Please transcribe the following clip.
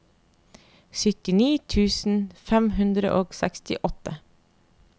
syttini tusen fem hundre og sekstiåtte